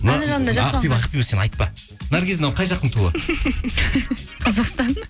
ақбибі ақбибі сен айтпа наргиз мынау қай жақтың туы қазақстан